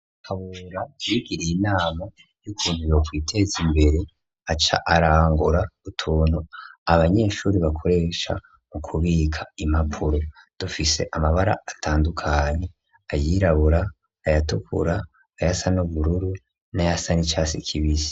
Kabura ibigiriye inama y'ukuntu yokwiteza imbere aca arangura utuntu abanyeshure bakoresha mu kubika impapuro, dufise amabara atandukanye : ayirabura, ayatukura, ayasa n'ubururu n'ayasa nicasi kibisi.